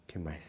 O que mais?